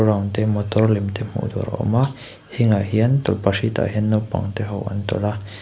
te motor lem te hmuh tur a awm a heng ah hian tawlhpahrit ah hian naupang te ho an tawlh a.